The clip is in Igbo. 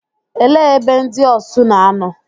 Ele ebe ndị Osu na-anọ?